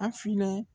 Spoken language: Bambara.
A filɛ